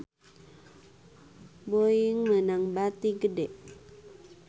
Boeing meunang bati gede